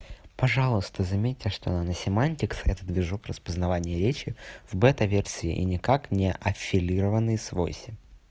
пожалуйста заметьте что наносемантикс этот движок распознавание речи в бета-версии и никак не аффилированный с войси